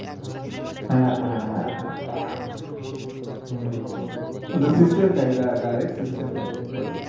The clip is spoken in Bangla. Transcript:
হ্যাঁ হ্যাঁ হ্যাঁ হ্যাঁ হ্যাঁ ওদের system থাকে direct system থাকে pollution এর